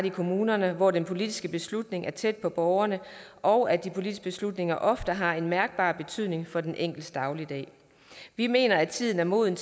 i kommunerne hvor den politiske beslutning er tæt på borgerne og de politiske beslutninger ofte har en mærkbar betydning for den enkeltes dagligdag vi mener at tiden er moden